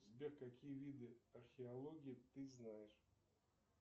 сбер какие виды археологии ты знаешь